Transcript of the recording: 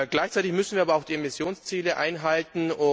Gleichzeitig müssen wir aber auch die Emissionsziele einhalten.